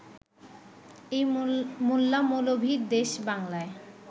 এই মোল্লা-মৌলভির দেশ বাংলায়